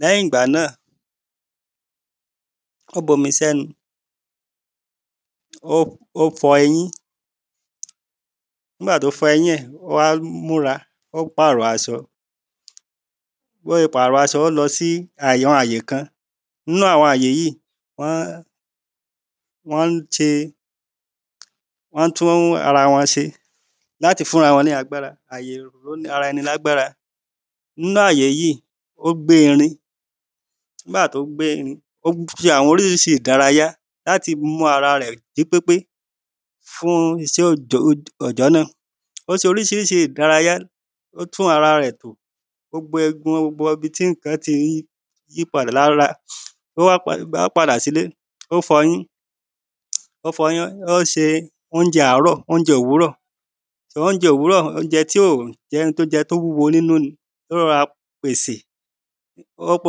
lẹ́yìn ìgbà náà ó bomi sẹ́nu ó fọ ó fọ eyín nígbà tó fọ èyín ẹ̀ ó wá múra ó pàrọ̀ aṣọ bó ṣe pàrọ̀ aṣọ ó lọ sí àyè kan. Nínú àwọn àyè yíì wọ́n wọ́n ń ṣe wọ́n ń tún ara wọn ṣe láti fún ara wọn lágbára àyè ìró ara ẹni lágbára nínú àyè yíì ó gbé irin nígbà tó gbé irin ó ṣe àwọn oríṣiríṣi ìdárayá láti mú ara rẹ̀ jí pépé. àwọn isẹ́ òjọ́ òjọ́ náà ó ṣe oríṣiríṣi ìdárayá ó tún ara rẹ̀ tò gbogbo egun gbogbo ibi tí nǹkan ti ń yí pada lára. Ó wá padà sílé ó fọyín ó fọyín ó se óúnjẹ àárọ̀ óúnjẹ òwúrọ̀ torí óúnjẹ òwúrọ̀ óúnjẹ tí ó jẹ́ tó wúwo nínú ni ló rọra pèsè ó lọ́kọ́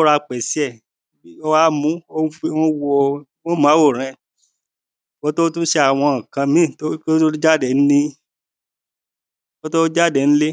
rọra pèsè ẹ̀ ó wá mu ó wá wo móhùnmáwòrán ẹ̀ kò tó tún ṣe àwọn nǹkan mí kó tó tún jáde ńlé kó tó tún jáde ńlé.